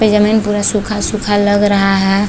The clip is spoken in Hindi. ये ज़मीन पूरा सूखा-सूखा लग रहा है।